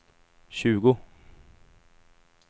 tjugo